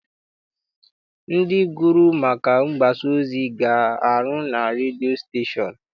Ndị gụrụ maka mgbasaozi ga-arụ na redio stashon.